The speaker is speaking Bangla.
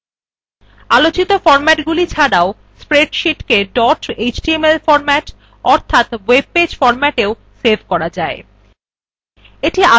আলোচিত বিন্যাসগুলি ছাড়াও spreadsheet dot html formats অর্থাৎ ওএব পেজ formatsin সেভ করা যায়